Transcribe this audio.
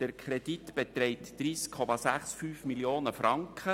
Der Kredit beträgt 30,65 Mio. Franken.